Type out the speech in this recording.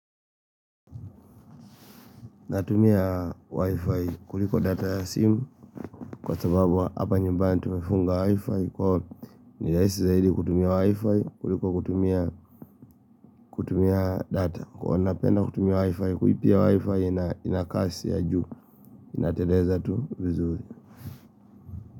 Natumia wifi kuliko data ya simu kwa sababu hapa nyumbani tumefunga wifi kwa nirahisi zaidi kutumia wifi kuliko kutumia data. Huwa napenda kutumia wifi kulipia wifi ina kasi ya juu inateleza tu vizuri.